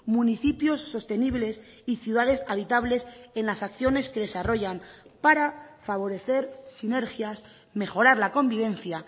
municipios sostenibles y ciudades habitables en las acciones que desarrollan para favorecer sinergias mejorar la convivencia